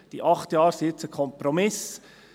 Die acht Jahre sind nun ein Kompromiss.